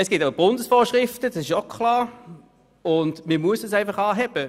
Es gibt Bundesvorschriften, und man muss die Werte einfach anheben.